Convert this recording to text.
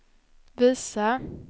visa